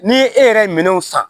Ni e yɛrɛ ye minɛnw san